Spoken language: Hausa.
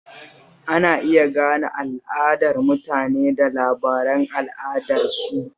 Ana iya gane al'adar mutane da labaran al'adarsu